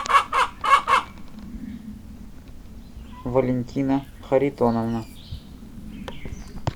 валентина харитоновна